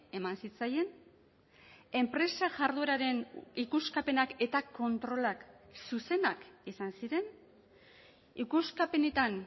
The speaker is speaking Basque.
eman zitzaien enpresa jardueraren ikuskapenak eta kontrolak zuzenak izan ziren ikuskapenetan